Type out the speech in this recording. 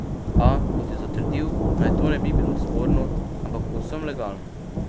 A, kot je zatrdil, naj to ne bi bilo sporno, ampak povsem legalno.